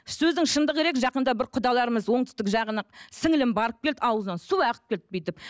сөздің шындығы керек жақында бір құдаларымыз оңтүстік жағына сіңліілім барып келді аузынын суы ағып келді бүйтіп